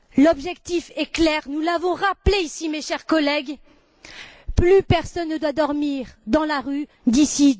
L'objectif est clair, nous l'avons rappelé ici, mes chers collègues, plus personne ne doit dormir dans la rue d'ici